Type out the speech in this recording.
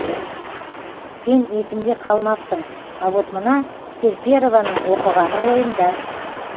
сен есімде қалмапсың а вот мына серперованың оқығаны ойымда